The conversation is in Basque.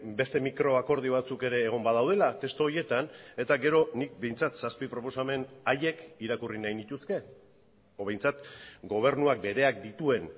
beste mikro akordio batzuk ere egon badaudelatestu horietan eta gero nik behintzat zazpi proposamen haiek irakurri nahi nituzke edo behintzat gobernuak bereak dituen